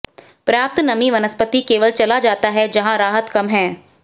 पर्याप्त नमी वनस्पति केवल चला जाता है जहां राहत कम है